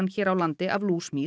hér á landi af